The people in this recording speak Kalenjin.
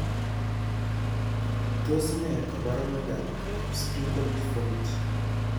Tos ne kaborunoikab miondop Sprengel deformity?